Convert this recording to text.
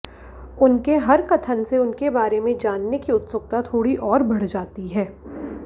उनके हर कथन से उनके बारे में जानने की उत्सुकता थोड़ी और बढ़ जाती है